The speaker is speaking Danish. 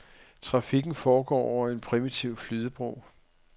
Trafikken foregår over en primitiv flydebro.